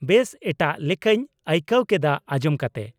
-ᱵᱮᱥ ᱮᱴᱟᱜ ᱞᱮᱠᱟᱹᱧ ᱟᱹᱭᱠᱟᱹᱣ ᱠᱮᱫᱟ ᱟᱸᱡᱚᱢ ᱠᱟᱛᱮ ᱾